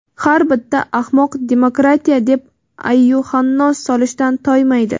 har bitta ahmoq demokratiya deb ayyuhannos solishdan toymaydi..